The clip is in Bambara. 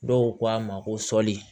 Dɔw ko a ma ko sɔli